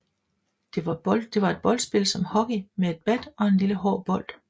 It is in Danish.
Det var et boldspil som hockey med et bat og en lille hård bold